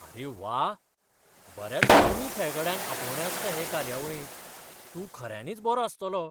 आरे वा! बऱ्याच कमी खेळगड्यांक आपोवणें आसता हे कार्यावळीक. तूं खऱ्यांनीच बरो आसतलो!